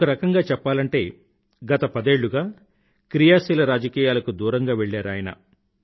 ఒకరకంగా చెప్పాలంటే గత పదేళ్ళుగా క్రియాశీల రాజకీయాలకు దూరంగా వెళ్ళారు ఆయన